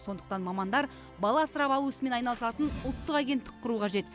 сондықтан мамандар бала асырап алу ісімен айналысатын ұлттық агенттік құру қажет